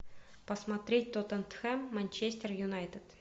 посмотреть тоттенхэм манчестер юнайтед